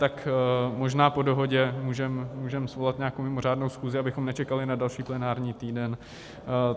Tak možná po dohodě můžeme svolat nějakou mimořádnou schůzi, abychom nečekali na další plenární týden.